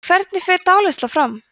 hvernig fer dáleiðsla fram